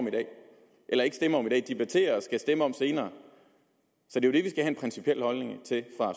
i dag og stemme om senere så det er det